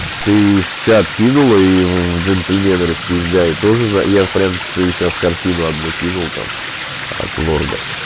ты в чат кинула и джентльмены распиздяи тоже я в принципе сейчас картину одну кинул там от лорда